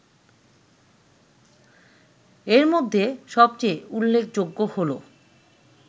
এর মধ্যে সবচেয়ে উল্লেখযোগ্য হলো